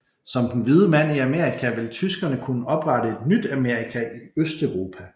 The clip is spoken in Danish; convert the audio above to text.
Som den hvide mand i Amerika ville tyskerne kunne oprette et nyt Amerika i Østeuropa